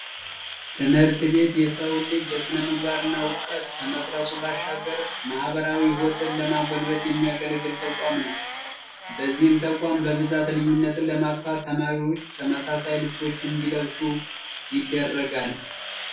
ትምህርት ቤት የሰውን ልጅ በስነምግባር እና በውቀት ከመቅረፁ ባሻገር ማህበራዊ ህይወትን ለማጎልበት የሚያገለግል ተቋም ነው። በዚህም ተቋም በብዛት ልዩነትን ለማጥፋት ተማሪዎች ተመሳሳይ ልብሶችን እንዲለብሱ ይደረጋል።